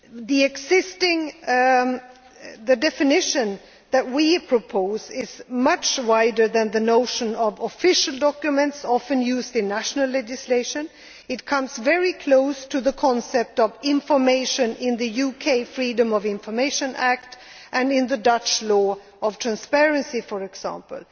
The definition that we propose is much wider than the notion of official documents often used in national legislation. It comes very close to the concept of information in the UK Freedom of Information Act and in the Dutch law on transparency, for example.